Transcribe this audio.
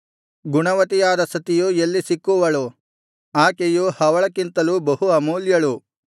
ಗುಣವತಿಯಾದ ಸತಿಯು ಎಲ್ಲಿ ಸಿಕ್ಕುವಳು ಆಕೆಯು ಹವಳಕ್ಕಿಂತಲೂ ಬಹೂ ಅಮೂಲ್ಯಳು